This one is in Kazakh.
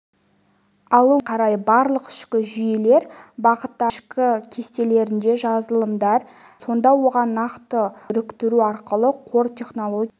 алу мүмкіндігіне қарай барлық ішкі жүйелер бағыттары өзінің ішкі кестелерінде жазылымдар жасайды сонда оған нақты қорларды біріктіру арқылы қор технологиясында